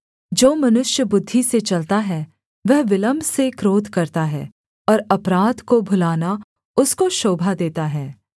जो मनुष्य बुद्धि से चलता है वह विलम्ब से क्रोध करता है और अपराध को भुलाना उसको शोभा देता है